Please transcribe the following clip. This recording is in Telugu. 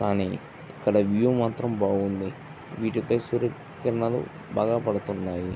కానీ ఎక్కడ వ్యూ మాత్రం బాగుంది. వీటి ఫై సూర్యకిరణాలు బాగా పడుతున్నాయి.